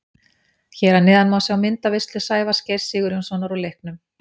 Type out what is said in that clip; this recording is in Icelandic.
Hér að neðan má sjá myndaveislu Sævars Geirs Sigurjónssonar úr leiknum.